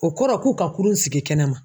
O kɔrɔ k'u ka kurun sigi kɛnɛma.